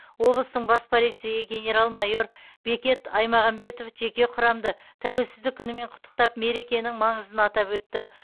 облыстың бас полицейі генерал майор бекет аймағамбетов жеке құрамды тәуелсіздік күнімен құттықтап мерекенің маңызын атап өтті